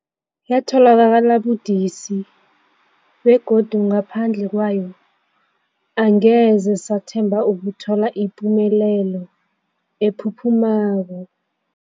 Yatholakala budisi, begodu ngaphandle kwayo angeze sathemba ukuthola ipumelelo ephuphumako.